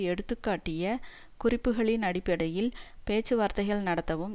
எடுத்துக்காட்டிய குறிப்புகளின் அடிப்படையில் பேச்சுவார்த்தைகள் நடத்தவும்